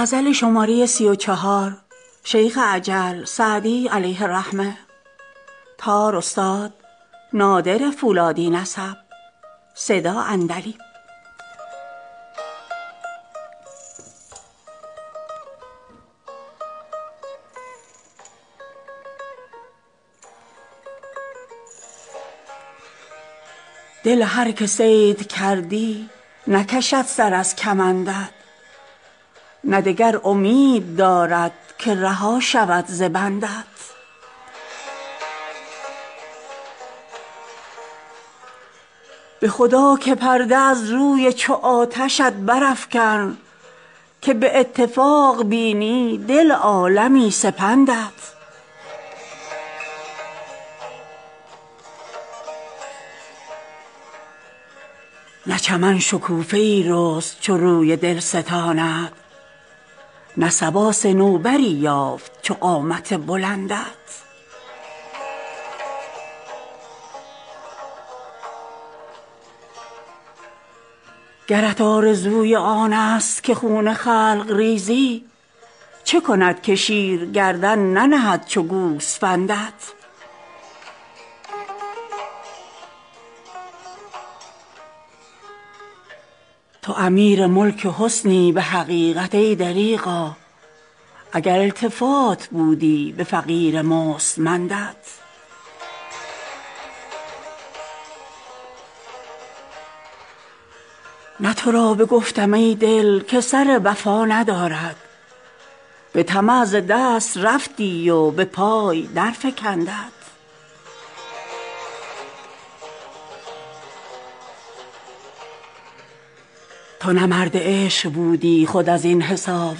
دل هر که صید کردی نکشد سر از کمندت نه دگر امید دارد که رها شود ز بندت به خدا که پرده از روی چو آتشت برافکن که به اتفاق بینی دل عالمی سپندت نه چمن شکوفه ای رست چو روی دلستانت نه صبا صنوبری یافت چو قامت بلندت گرت آرزوی آنست که خون خلق ریزی چه کند که شیر گردن ننهد چو گوسفندت تو امیر ملک حسنی به حقیقت ای دریغا اگر التفات بودی به فقیر مستمندت نه تو را بگفتم ای دل که سر وفا ندارد به طمع ز دست رفتی و به پای درفکندت تو نه مرد عشق بودی خود از این حساب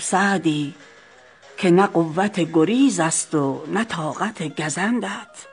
سعدی که نه قوت گریزست و نه طاقت گزندت